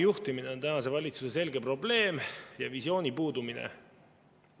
Samuti on tänase valitsuse selge probleem kitsa vaatega juhtimine ja ka visiooni puudumine.